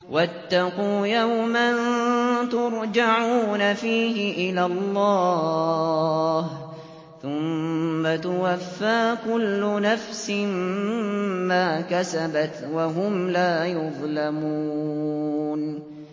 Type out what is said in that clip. وَاتَّقُوا يَوْمًا تُرْجَعُونَ فِيهِ إِلَى اللَّهِ ۖ ثُمَّ تُوَفَّىٰ كُلُّ نَفْسٍ مَّا كَسَبَتْ وَهُمْ لَا يُظْلَمُونَ